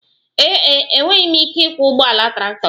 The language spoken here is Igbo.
Ee e, enweghị m ike ịkwọ ụgbọala traktọ gị